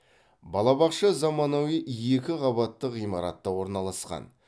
балабақша заманауи екі қабатты ғимаратта орналасқан